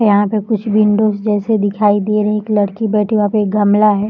यहाँ पे कुछ विंडोज जैसी दिखाई दे रही एक लड़की बैठी हुई है वहाँ पे एक गमला है।